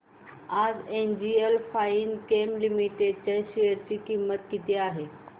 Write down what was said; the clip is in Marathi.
आज एनजीएल फाइनकेम लिमिटेड च्या शेअर ची किंमत किती आहे